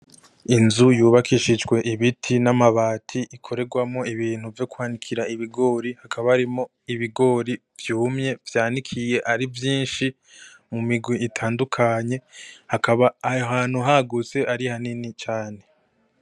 Inzu yubakishijwe ibiti n'amabati ikorerwamwo ibintu vyo kwanikira ibigori, hakaba harimwo ibigori vyumye vyanikiniye ari vyinshi mu mirwi itandukanye, hakaba aho hantu hagutse ari hanini cane.